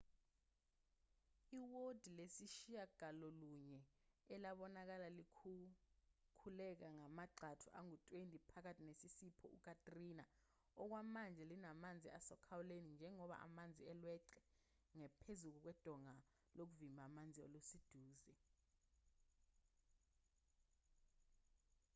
iwodi lesishiyagalolunye elabonakala likhukhuleka ngamagxathu angu-20 phakathi nesiphepho u-katrina okwamanje linamanzi asokhalweni njengoba amanzi elweqe ngaphezulu udonga lokuvimba amanzi oluseduze